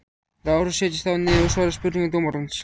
LÁRUS: Setjist þá niður og svarið spurningum dómarans.